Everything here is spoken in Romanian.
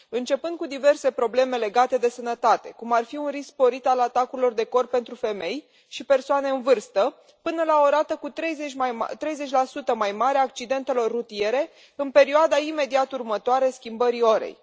Începând cu diverse probleme legate de sănătate, cum ar fi un risc sporit al atacurilor de cord pentru femei și persoane în vârstă, până la o rată cu 30 mai mare a accidentelor rutiere în perioada imediat următoare schimbării orei.